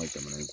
jamana